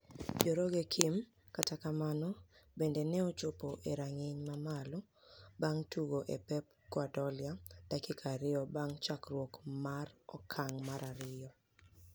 joroge kim kata kamano bende ne ochopo e rang'ny mamalo bang' tugo e Pep Guardiola dakika ariyo bang' chakruok mar okan'g mar ariyo.